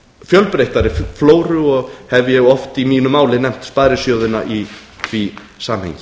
fjölbreyttari flóru og hef ég oft í mínu máli nefnt sparisjóðina í því samhengi